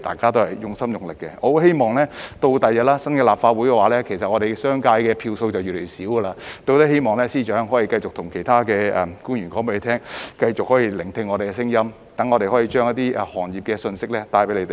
我希望日後在新一屆立法會——其實我們商界的票數將會越來越少——司長可以繼續叮囑其他官員繼續用心聆聽我們的聲音，讓我們可以將一些行業的信息帶給他們。